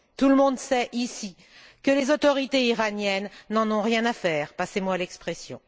Tout le monde sait ici que les autorités iraniennes n'en ont rien à faire, passez moi l'expression.